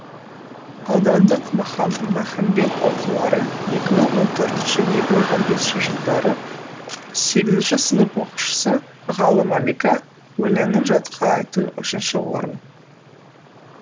аудандық махамбет оқулары екі мың он төртінші екі мың он бесінші жылдары сегізінші сынып оқушысы ғалы малика өлеңін жатқа айту үшінші орын